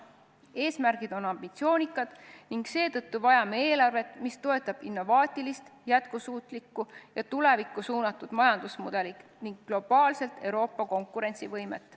Eesmärgid on ambitsioonikad ning seetõttu vajame eelarvet, mis toetab innovaatilist, jätkusuutlikku ja tulevikku suunatud majandusmudelit ning globaalselt Euroopa konkurentsivõimet.